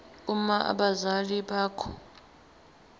uma abazali bakho